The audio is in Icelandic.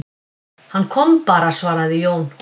Hann kom bara, svaraði Jón Ólafur.